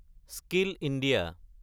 skill India